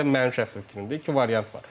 Belə də mənim şəxsi fikrimdir, iki variant var.